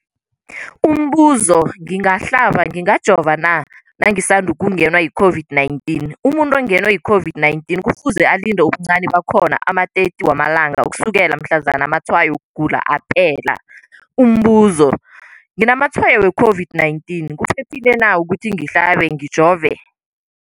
Umbuzo, ngingahlaba, ngingajova na nangisandu kungenwa yi-COVID-19? Umuntu ongenwe yi-COVID-19 kufuze alinde ubuncani bakhona ama-30 wama langa ukusukela mhlazana amatshayo wokugula aphela. Umbuzo, nginamatshayo we-COVID-19, kuphephile na ukuthi ngihlabe, ngijove?